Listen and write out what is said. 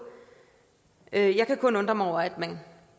jeg kan kun undre mig over at man